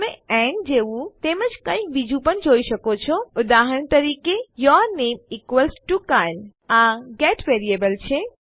તમે એન્ડ જેવું તેમજ કંઈક બીજું પણ જોઈ શકો છો ઉદાહરણ તરીકે યૂર નામે ઇક્વલ્સ ટીઓ કાયલે આ ગેટ વેરીએબલ છે